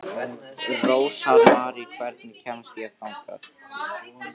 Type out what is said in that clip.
Rósmarý, hvernig kemst ég þangað?